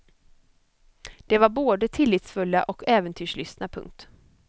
De var både tillitsfulla och äventyrslystna. punkt